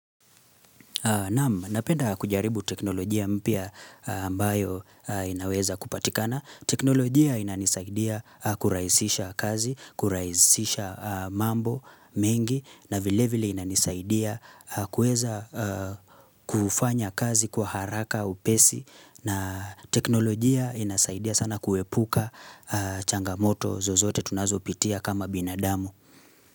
Napenda kujaribu teknolojia mpya ambayo inaweza kupatikana. Teknolojia inanisaidia kurahisisha kazi, kurahisisha mambo mengi na vilevile ina nisaidia kuweza kufanya kazi kwa haraka upesi na teknolojia inasaidia sana kuepuka changamoto zozote tunazopitia kama binadamu.